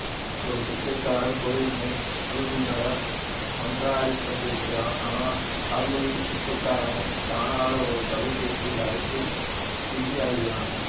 ஒரு பிச்சைக்காரன் கோயில் முன் அபுல்னிடம் மன்றாடிக் கொண்டிருக்கிறான் ஆனால் அர்லுல் பிச்சைக்காரனைக் காணாத ஒரு தொலைபேசி அழைப்பில் பிஸியாகிறான்